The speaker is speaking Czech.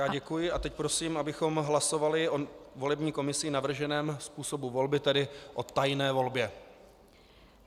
Já děkuji a teď prosím, abychom hlasovali o volební komisí navrženém způsobu volby, tedy o tajné volbě.